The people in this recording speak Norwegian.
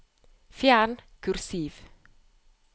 Fjern kursiv